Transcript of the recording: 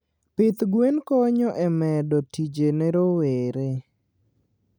pith gwen konyo e medo tije ne rowere.